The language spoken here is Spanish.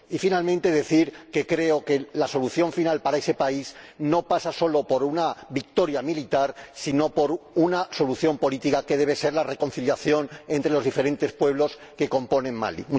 Por último, quiero decir que creo que la solución final para ese país no pasa solo por una victoria militar, sino por una solución política, que debe ser la reconciliación entre los diferentes pueblos que componen Mali.